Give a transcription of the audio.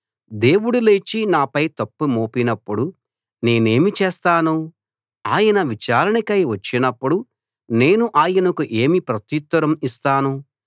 దేవుడు లేచి నాపై తప్పు మోపినప్పుడు నేనేమి చేస్తాను ఆయన విచారణకై వచ్చినప్పుడు నేను ఆయనకు ఏమి ప్రత్యుత్తరం ఇస్తాను